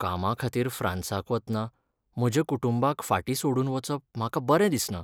कामाखातीर फ्रांसाक वतना म्हज्या कुटुंबाक फाटीं सोडून वचप म्हाका बरें दिसना.